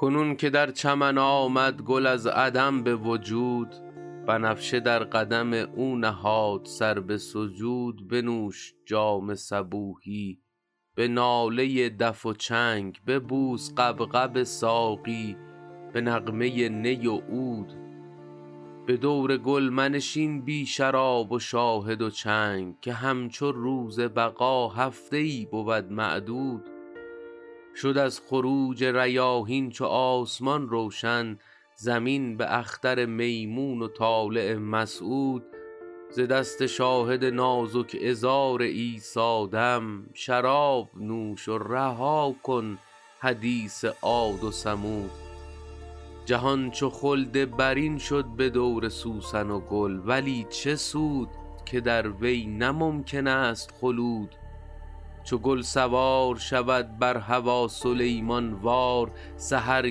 کنون که در چمن آمد گل از عدم به وجود بنفشه در قدم او نهاد سر به سجود بنوش جام صبوحی به ناله دف و چنگ ببوس غبغب ساقی به نغمه نی و عود به دور گل منشین بی شراب و شاهد و چنگ که همچو روز بقا هفته ای بود معدود شد از خروج ریاحین چو آسمان روشن زمین به اختر میمون و طالع مسعود ز دست شاهد نازک عذار عیسی دم شراب نوش و رها کن حدیث عاد و ثمود جهان چو خلد برین شد به دور سوسن و گل ولی چه سود که در وی نه ممکن است خلود چو گل سوار شود بر هوا سلیمان وار سحر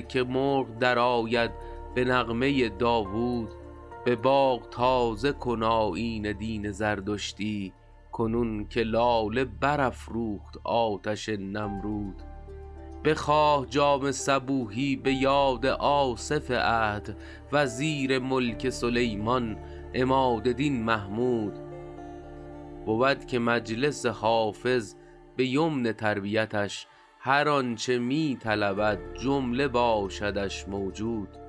که مرغ درآید به نغمه داوود به باغ تازه کن آیین دین زردشتی کنون که لاله برافروخت آتش نمرود بخواه جام صبوحی به یاد آصف عهد وزیر ملک سلیمان عماد دین محمود بود که مجلس حافظ به یمن تربیتش هر آن چه می طلبد جمله باشدش موجود